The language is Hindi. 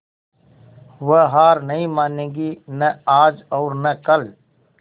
वह हार नहीं मानेगी न आज और न कल